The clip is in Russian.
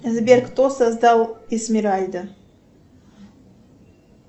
сбер кто создал эсмеральда